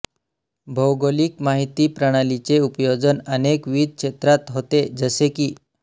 भौगोलिक माहिती प्रणालीचे उपयोजन अनेकविध क्षेत्रात होते जसे की